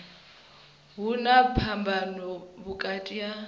hu na phambano vhukati ha